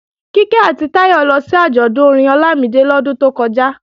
Kíkẹ́ àti Táyọ lọ sí àjọ̀dún orin Ọlámídé lọ́dún tó kọjá